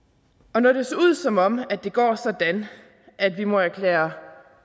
og når det ser ud som om det går sådan at vi må erklære